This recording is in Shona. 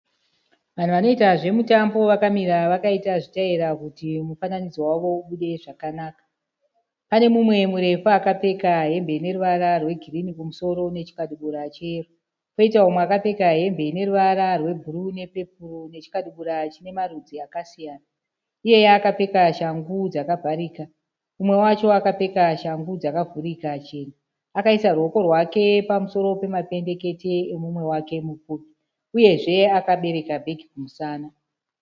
Vanhu vanoita zvemutambo vakamira vakaita zvitaira kuti mufananidzo wavo ubude zvakanaka. Pane mumwe murefu akapfeka hembe ineruvara rwegirini kumusoro nechikabudura cheyero. Poita umwe akapfeka hembe ineruvara rwebhuruu nepepoo nechikabudura chinemarudzi akasiyana, iyeye akapfeka shangu dzakavharika. Umwe wacho akapfeka shangu dzakavhurika chena. Akaisa ruoko rwake pamusoro pemapendekete emumwe wake mupfupi uyezve akabereka bhegi kumusana.